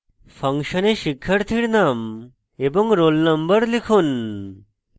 ফাংশনে শিক্ষার্থীর name এবং roll নম্বর লিখুন